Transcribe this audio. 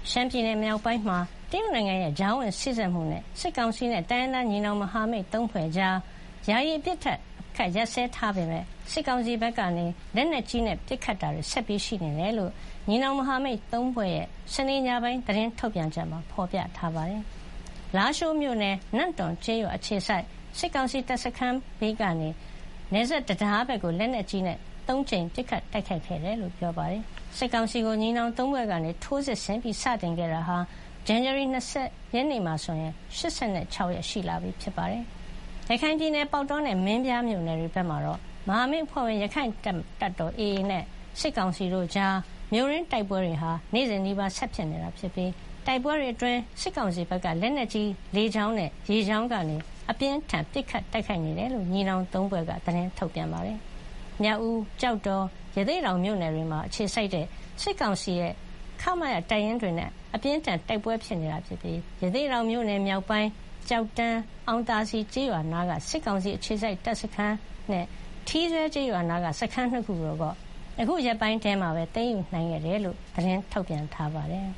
ရှမ်းပြည်နယ် မြောက်ပိုင်းမှာ တရုတ်နိုင်ငံရဲ့ ကြားဝင် စေ့စပ်မှုနဲ့ စစ်ကောင်စီနဲ့ တိုင်းရင်းသား ညီနောင် မဟာမိတ် (၃) ဖွဲ့ ကြား ယာယီ အပစ်ရပ်ထားပေမယ့် စစ်ကောင်စီဘက်က လက်နက်ကြီးနဲ့ ပစ်ခတ်တာတွေ ဆက်ရှိနေတယ်လို့ ညီနောင် မဟာမိတ် (၃) ဖွဲ့ရဲ့ ဇန်နဝါရီ (၂၀) ရက်နေ့ စနေညပိုင်း သတင်းထုတ်ပြန်ချက်မှာ ဖော်ပြထားပါတယ်။ လားရှိုးမြို့နယ်၊ နမ့်တွန်ကျေးရွာ အခြေစိုက် စစ်ကောင်စီတပ်စခန်းကနေ နယ်စပ်တံတားဘက်ကို လက်နက်ကြီးနဲ့ (၃) ကြိမ် ပစ်ခတ်တိုက်ခိုက်ခဲ့တယ်လို့ ဆိုပါတယ်။ စစ်ကောင်စီကို ညီနောင် (၃) ဖွဲ့က ထိုးစစ် စတင်ခဲ့တာက ဇန်နဝါရီ ၂၀ ရက်နေ့မှာ ၈၆ ရက် ရှိလာပြီဖြစ်ပါတယ်။ ရခိုင်ပြည်နယ် ပေါက်တောနဲ့ မင်းပြားမြို့နယ်တွေဘက်မှာတော့ မဟာမိတ် အဖွဲ့ဝင် ရက္ခိုင့်တပ်တော် (AA) နဲ့ စစ်ကောင်စီတို့ကြား မြို့တွင်းတိုက်ပွဲတွေ နေ့စဉ်နီးပါး ဆက်ဖြစ်နေပြီး တိုက်ပွဲတွေအတွင်း စစ်ကောင်စီဘက်က လက်နက်ကြီး၊ လေကြောင်းနဲ့ ရေကြောင်းကနေ အပြင်းအထန် ပစ်ခတ်တိုက်ခိုက်နေတယ်လို့ ညီနောင် (၃) ဖွဲ့က သတင်းထုတ်ပြန်ပါတယ်။ AA ကတော့ မြောက်ဦး၊ ကျောက်တော်၊ ရသေ့တောင် မြို့နယ်တွေမှာ အခြေစိုက်တဲ့ စစ်ကောင်စီရဲ့ ခ-မ-ရ တပ်ရင်းတွေနဲ့ အပြင်းအထန် တိုက်ပွဲဖြစ်နေပြီး ရသေ့တောင်မြို့နယ် မြောက်ပိုင်း၊ ကျောက်တန်း၊ အောင်သာစည်ကျေးရွာအနီးက စစ်ကောင်စီအခြေစိုက်တပ်စခန်းနဲ့ ထီးစွဲကျေးရွာအနီးက စခန်းနှစ်ခုကိုတော့ အခုရက်ပိုင်းထဲ သိမ်းယူနိုင်ခဲ့တယ်လို့ သတင်းထုတ်ပြန်ပါတယ်